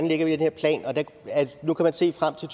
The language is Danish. lægger den her plan nu kan man se frem til